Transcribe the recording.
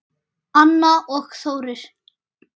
Anna og Þórir.